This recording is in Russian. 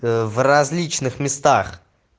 ээ в различных местах